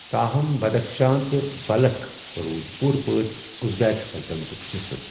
تاہم، بدخشاں تہٕ بلخ روٗدِ پوٗرٕ پٲٹھۍ ازبیک سلطنتُک حصہٕ۔